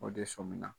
O de sɔmina